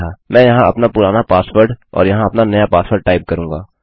मैं यहाँ अपना पुराना पासवर्ड और यहाँ अपना नया पासवर्ड टाइप करूँगा